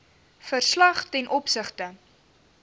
verslag ten opsigte